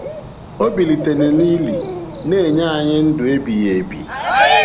Ọ bilitere n’ili, na-enye anyị ndụ ebighị ebi.